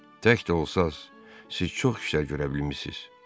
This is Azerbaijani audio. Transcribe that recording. Tək də olsanız, siz çox işlər görə bilmişsiz.